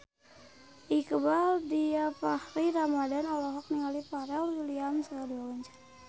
Iqbaal Dhiafakhri Ramadhan olohok ningali Pharrell Williams keur diwawancara